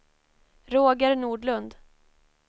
Roger Nordlund